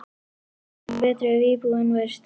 Það væri betra ef íbúðin væri stærri.